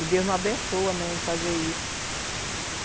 E Deus não abençoa, né, em fazer isso.